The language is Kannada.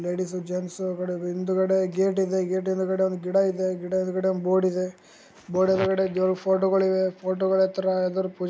ಲೇಡೀಸ್ ಜೆಂಟ್ಸ್ ಆಕಡೆ ಹಿಂದುಗಡೆ ಗೇಟು ಇದೆ ಗೇಟು ಹಿಂದುಗಡೆ ಒಂದು ಗಿಡ ಇದೆ ಗಿಡ ಹಿಂದುಗಡೆ ಒಂದು ಬೋರ್ಡ್ ಇದೆ ಬೋರ್ಡ್ ಹೊಳಗಡೆ ದೇವರು ಫೊಟೊಗಳು ಇವೆ ಫೋಟೋಗಳು ಆತ್ರ ಯಾರು ಅದ್ರು--